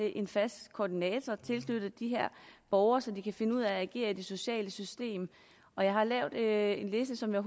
en fast koordinator tilknyttet de her borgere så de kan finde ud af at agere i det sociale system og jeg har lavet en liste som jeg